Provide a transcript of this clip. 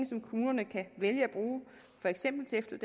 som kommunerne kan vælge